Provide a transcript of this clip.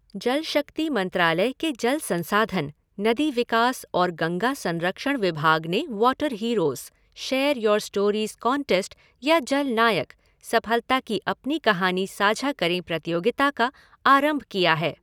जल शक्ति मंत्रालय के जल संसाधन, नदी विकास और गंगा संरक्षण विभाग ने water heroes share your stories contest या जल नायकः सफलता की अपनी कहानी साझा करें प्रतियोगिता का आरंभ किया है।